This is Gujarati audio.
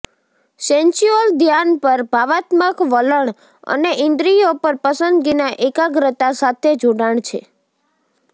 સેન્સ્યૂઅલ ધ્યાન પર ભાવનાત્મક વલણ અને ઇન્દ્રિયો પર પસંદગીના એકાગ્રતા સાથે જોડાણ છે